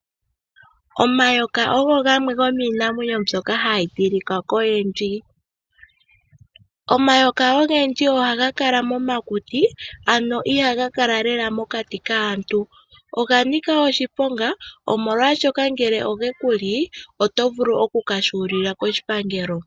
Omayoka ogo gamwe gomiinamwenyo mboka ha yi tilika koyendji. Omayoka ogendji oha ga kala momakuti, ano iha ga kala lela momati kaantu noga nika oshiponga nongele oge ku li oto vulu oku ka huli la koshipangelo.